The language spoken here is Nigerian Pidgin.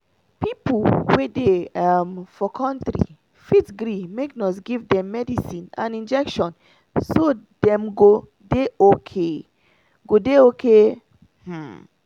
people wey dey um for country fit gree make nurse give dem medicine and injection [breathe] so dem go dey okay. go dey okay. um